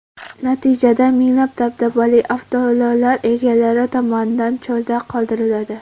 Natijada, minglab dabdabali avtoulovlar egalari tomonidan cho‘lda qoldiriladi.